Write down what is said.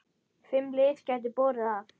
Fimm lið gætu borið af.